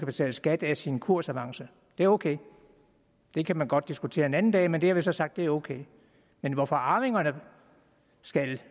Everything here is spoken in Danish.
betale skat af sin kursavance det er ok det kan man godt diskutere en anden dag men det har vi så sagt er ok men hvorfor arvingerne skal